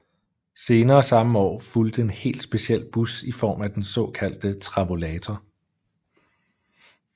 Senere samme år fulgte en helt speciel bus i form af den såkaldte Travolator